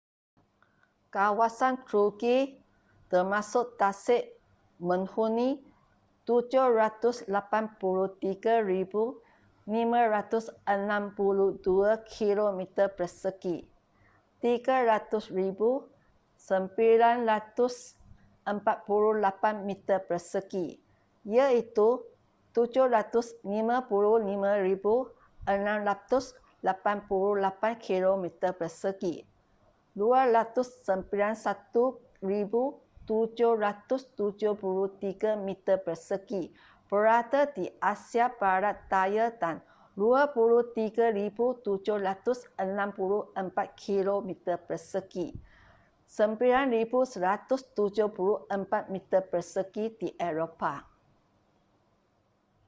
kawasan turki termasuk tasik menghuni 783,562 kilometer persegi 300,948 meter persegi iaitu 755,688 kilometer persegi 291,773 meter persegi berada di asia barat daya dan 23,764 kilometer persegi 9,174 meter persegi di eropah